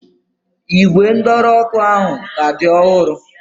Ígwè ndọrọ ọ́kụ́ ahụ ka dị ọhụrụ.